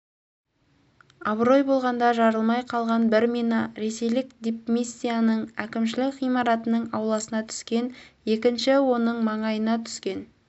абырой болғанда жарылмай қалған бір мина ресейлік дипмиссияның әкімшілік ғимаратының ауласына түскен екіншісі оның маңына түскен